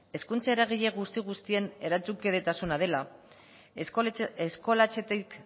hezkuntza eragile guzti guztien erantzunkidetasuna dela eskolatzetik